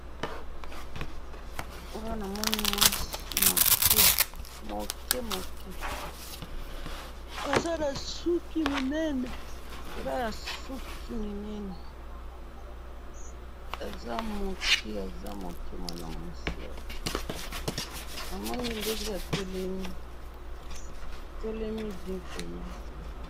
Awa namoni mwasi muke, muke muke, aza nasuki minene, eza nasuki minene, aza muke aza muke mwana mwasi oyo, namoni ndenge atelemi, atelemi bien penza.